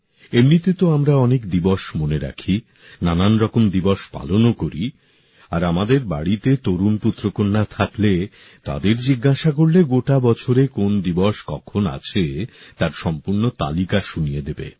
এমনিতে তো আমরা অনেক দিবস মনে রাখি নানারকম দিবস পালনও করি আর আমাদের বাড়িতে তরুণ পুত্রকন্যা থাকলে তাদের জিজ্ঞাসা করলে গোটা বছরে কোন দিবস কখন আছে তার সম্পূর্ণ তালিকা শুনিয়ে দেবে